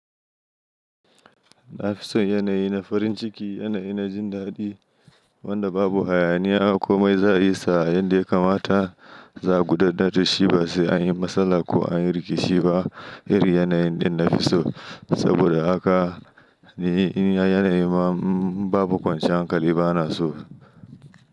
Na fi son yanayi na farin ciki, yanayi na jin daɗi wanda babu hayaniya komai za a yi sa yadda ya kamata za a gudanar da shi ba sai an yi matsala ko an yi rikici ba. Irin yanayin ɗin na fi so, saboda haka ni yanayi ma in babu kwanciyar hankali bana so.